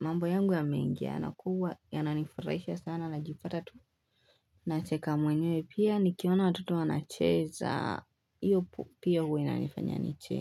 mambo yangu yamengiana kuwa yananifurahisha sana na jipata tu nacheka mwenye pia ni kiona watoto wanacheza hiyo pia huwa inanifanya nicheke.